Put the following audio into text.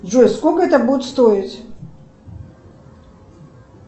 джой сколько это будет стоить